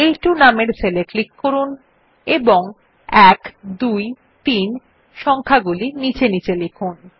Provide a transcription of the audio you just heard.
আ2 নামের সেল এ ক্লিক করুন এবং ১২৩ সংখ্যাগুলি নীচে নীচে লিখুন